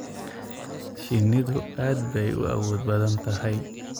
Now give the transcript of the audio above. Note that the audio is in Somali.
Shinnidu aad bay u awood badan tahay.